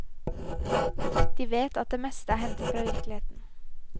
De vet at det meste er hentet fra virkeligheten.